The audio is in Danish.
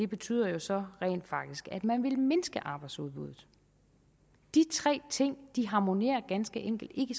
betyder så rent faktisk at man vil mindske arbejdsudbuddet de tre ting harmonerer ganske enkelt ikke